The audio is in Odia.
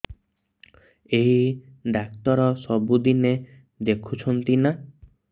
ଏଇ ଡ଼ାକ୍ତର ସବୁଦିନେ ଦେଖୁଛନ୍ତି ନା